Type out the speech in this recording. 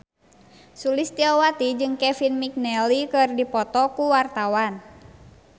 Sulistyowati jeung Kevin McNally keur dipoto ku wartawan